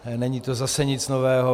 Není to zase nic nového.